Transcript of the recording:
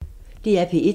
DR P1